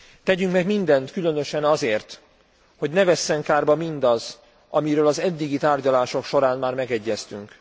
Tegyünk meg mindent, különösen azért, hogy ne vesszen kárba mindaz, amiről az eddigi tárgyalások során már megegyeztünk.